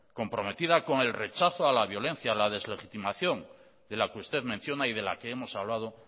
comprometida con el rechazo a la violencia a la deslegitimación de la que usted menciona y de la que hemos hablado